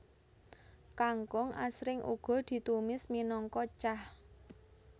Kangkung asring uga ditumis minangka cah